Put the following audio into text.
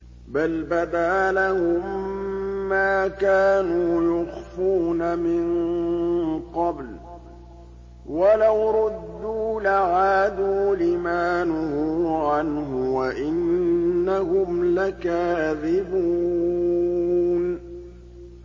بَلْ بَدَا لَهُم مَّا كَانُوا يُخْفُونَ مِن قَبْلُ ۖ وَلَوْ رُدُّوا لَعَادُوا لِمَا نُهُوا عَنْهُ وَإِنَّهُمْ لَكَاذِبُونَ